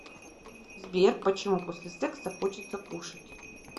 сбер почему после секса хочется кушать